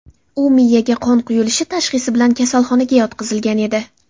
U miyaga qon quyilishi tashxisi bilan kasalxonaga yotqizilgan edi.